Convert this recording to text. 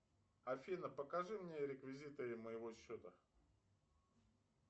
афина покажи мне реквизиты моего счета